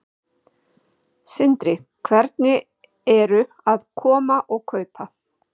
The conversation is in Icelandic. Sindri: Hvernig eru að koma og kaupa?